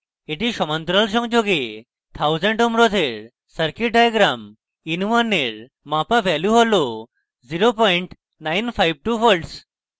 এটি সমান্তরাল সংযোগে 1000 ohm রোধের circuit diagram in1 এর মাপা value হল 0952v